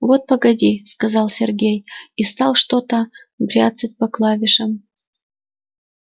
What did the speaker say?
вот погоди сказал сергей и стал что-то бряцать по клавишам